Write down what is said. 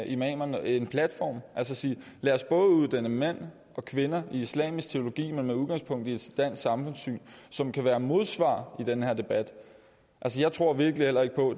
imamer en platform altså sige lad os prøve at uddanne mænd og kvinder i islamisk teologi men med udgangspunkt i et dansk samfundssyn som kan være et modsvar i den her debat jeg tror virkelig heller ikke på